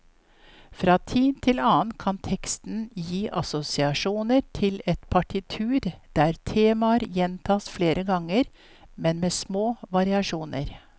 Fra tid til annen kan teksten gi assosiasjoner til et partitur der temaer gjentas flere ganger, men med små variasjoner.